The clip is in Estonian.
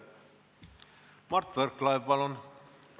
Mart Võrklaev, palun!